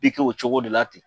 I o cogo de la ten.